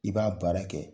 I b'a baara kɛ